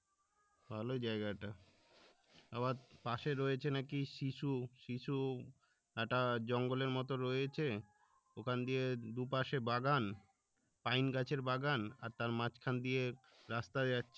ভালোই জেয়গাটা আবার পশে রয়েছে নাকি শিশু শিশু একটা জঙ্গলের মতো রয়েছে ওখান দিয়ে দুপাশে বাগান পাইন গাছের বাগান তার মাঝখান দিয়ে রাস্তা যাচ্ছে